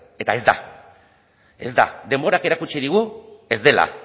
eta ez da ez da denborak erakutsi digu ez dela